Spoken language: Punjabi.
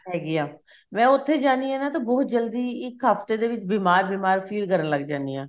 ਹੈਗੀ ਆ ਮੈਂ ਉੱਥੇ ਜਾਨੀ ਆ ਨਾ ਤਾਂ ਬਹੁਤ ਜਲਦੀ ਇੱਕ ਹਫਤੇ ਦੇ ਵਿੱਚ ਬੀਮਾਰ ਬੀਮਾਰ feel ਕਰਨ ਲੱਗ ਜਾਨੀ ਆ